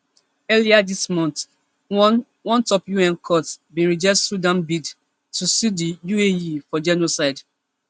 earlier dis month one one top un court bin reject sudan bid to sue di uae for genocide